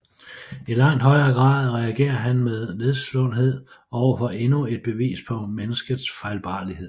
I langt højere grad reagerer han med nedslåethed over for endnu et bevis på menneskets fejlbarlighed